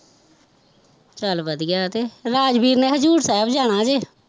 ਚੱਲ ਵਧੀਆ ਤੇ, ਰਾਜਵੀਰ ਨੇ ਹਜ਼ੂਰ ਸਾਹਿਬ ਜਾਣਾ ਜੇ